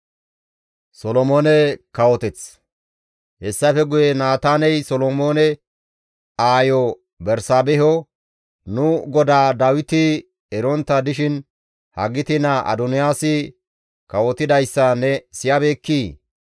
Hessafe guye Naataaney Solomoone aayo Bersaabeho, «Nu godaa Dawiti erontta dishin Hagiti naa Adoniyaasi kawotidayssa ne siyabeekkii?